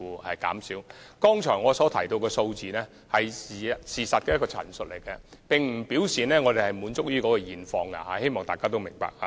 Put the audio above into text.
我剛才提到的數字是事實的陳述，並不表示我們滿意於現況，希望大家明白。